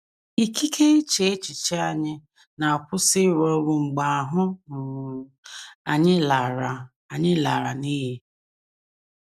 Ikike iche echiche anyị na - akwụsị ịrụ ọrụ mgbe ahụ́ um anyị lara anyị lara n’iyi.